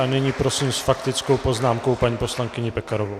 A nyní prosím s faktickou poznámkou paní poslankyni Pekarovou.